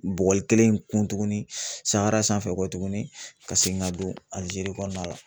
Bugɔli kelen in kun tuguni sahara sanfɛ tuguni ka segin ka don Alijeri kɔnɔna la